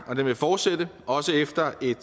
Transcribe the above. og den vil fortsætte også efter et